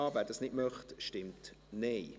wer das nicht möchte, stimmt Nein.